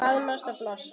Faðmast og blossa.